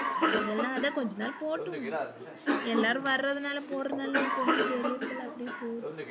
அதெல்லாம் அது கொஞ்ச நாள் போட்டும் எல்லாரும் வரனால போறனாலா நமக்கு ஒன்னும் தெரிறது இல்ல அப்டியே போது.